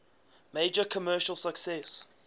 major commercial success